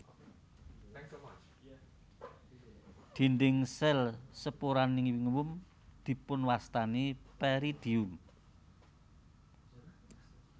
Dinding sel sporangium dipunwastani peridium